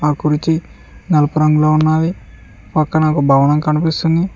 ఒక కుర్చీ నలుపు రంగులో ఉన్నావి పక్కన ఒక భవనం కనిపిస్తుంది.